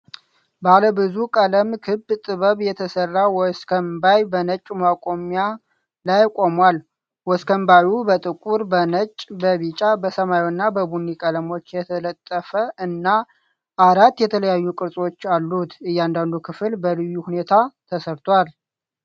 ባለ ብዙ ቀለም ክብ ጥበብ የተሰራ ወስከንባይ በነጭ ማቆሚያ ላይ ቆሟል። ወስከንባዩ በጥቁር፣ በነጭ፣ በቢጫ፣ በሰማያዊና በቡኒ ቀለሞች የተጠለፈ እና አራት የተለያዩ ቅርጾችም አሉት። እያንዳንዱ ክፍል በልዩ ሁኔታ ተሠርቷል።